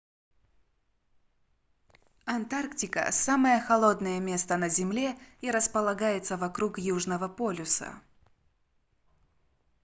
антарктика самое холодное место на земле и располагается вокруг южного полюса